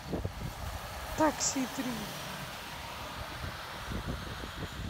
такси три